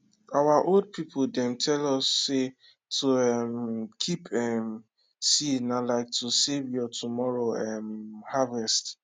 our old people dem tell us say to um keep um seed na like to save your tomorrow um harvest